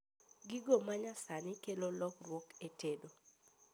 Gigo manyasani okelo lokruok e tedo